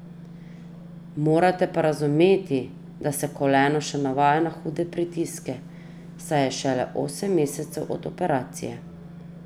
Morate pa razumeti, da se koleno še navaja na hude pritiske, saj je šele osem mesecev od operacije.